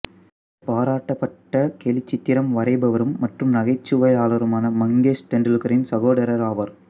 இவர் பாராட்டப்பட்ட கேலிச்சித்திர வரைபவரும் மற்றும் நகைச்சுவையாளருமான மங்கேஷ் தெண்டுல்கரின் சகோதரர் ஆவார்